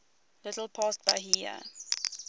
little past bahia